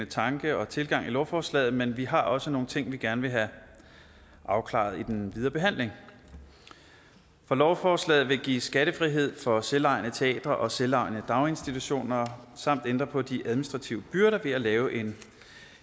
tanke og tilgang i lovforslaget men vi har også nogle ting vi gerne vil have afklaret i den videre behandling lovforslaget vil give skattefrihed for selvejende teatre og selvejende daginstitutioner samt ændre på de administrative byrder ved at lave en